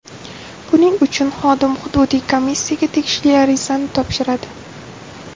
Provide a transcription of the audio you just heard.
Buning uchun xodim hududiy komissiyaga tegishli arizani topshiradi.